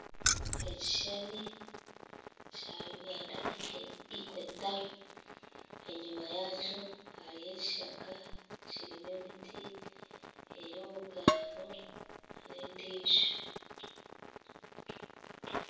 Ebishushani bya Uganda equator enyuma yaakyo hariyo ekishaka kirimu emiti eyobugando n'endiijo